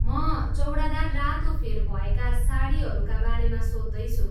म चौडादार रातो फेर भएका साडीहरूका बारेमा सोध्दैछु।